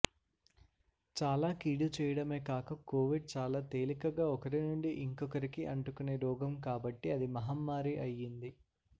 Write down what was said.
చాలా కీడు చేయడమే కాక కోవిడ్ చాలా తేలికగా ఒకరినుండి ఇంకొకరికి అంటుకునే రోగం కాబట్టి అది మహమ్మారి అయింది